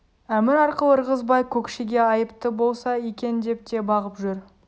әмір арқылы ырғызбай көкшеге айыпты болса екен деп те бағып жүр